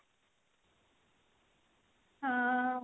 ହଁ